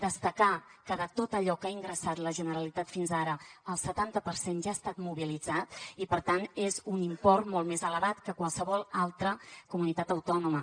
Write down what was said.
destacar que de tot allò que ha ingressat la generalitat fins ara el setanta per cent ja ha estat mobilitzat i per tant és un import molt més elevat que qualsevol altra comunitat autònoma